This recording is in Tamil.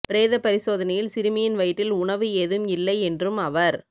பிரேத பரிசோதனையில் சிறுமியின் வயிற்றில் உணவு ஏதும் இல்லை என்றும் அவர்